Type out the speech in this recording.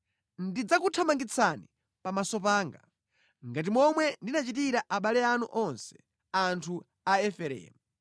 Ndidzakuthamangitsani pamaso panga, ngati momwe ndinachitira abale anu onse, anthu a Efereimu.’ ”